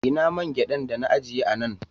Ina man gyaɗan dana ajiye a nan